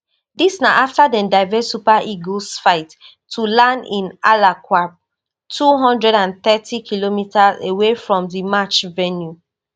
dis na afta dem divert super eagles flight to land in alaqrab two hundred and thirtykm away from di match venue